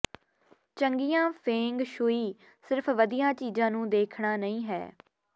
ਚੰਗੀਆਂ feng shui ਸਿਰਫ ਵਧੀਆ ਚੀਜ਼ਾਂ ਨੂੰ ਦੇਖਣਾ ਨਹੀਂ ਹੈ